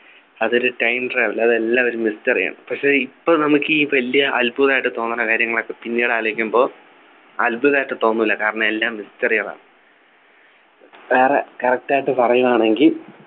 അതൊരു Time travel അത് എല്ലാവരും തിരിച്ചറിയണം പക്ഷേ ഇപ്പോൾ നമ്മക്ക് ഈ വലിയ അത്ഭുതമായിട്ട് തോന്നുന്ന കാര്യങ്ങളൊക്കെ പിന്നീട് ആലോചിക്കുമ്പോൾ അത്ഭുതായിട്ട് തോന്നില്ല കാരണം എല്ലാം Mystery കളാണ് വേറെ correct ആയിട്ട് പറയുകയാണെങ്കി